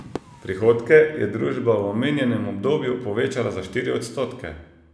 Prihodke je družba v omenjenem obdobju povečala za štiri odstotke.